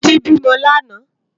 Titi bi mò làná